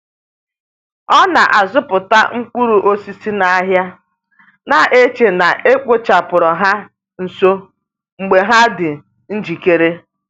O na-azụta mkpụrụ osisi n’ahịa, na-eche na e kpochapụrụ ha nso mgbe ha dị njikere.